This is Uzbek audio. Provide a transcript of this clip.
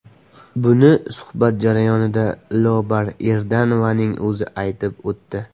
Buni suhbat jarayonida Lobar Erdanovaning o‘zi aytib o‘tdi.